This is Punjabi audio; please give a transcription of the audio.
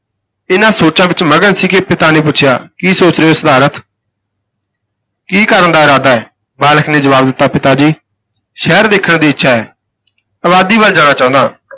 ਇਨ੍ਹਾਂ ਸੋਚਾਂ ਵਿਚ ਮਗਨ ਸੀ ਕਿ ਪਿਤਾ ਨੇ ਪੁੱਛਿਆ, ਕੀ ਸੋਚ ਰਹੇ ਹੋ ਸਿਧਾਰਥ ਕੀ ਕਰਨ ਦਾ ਇਰਾਦਾ ਹੈ? ਬਾਲਕ ਨੇ ਜਵਾਬ ਦਿੱਤਾ ਪਿਤਾ ਜੀ ਸ਼ਹਿਰ ਦੇਖਣ ਦੀ ਇੱਛਾ ਹੈ, ਆਬਾਦੀ ਵੱਲ ਜਾਣਾ ਚਾਹੁੰਦਾ ਹਾਂ।